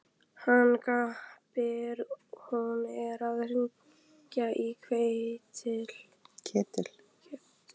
Hann gapir. hún er að hringja í Ketil!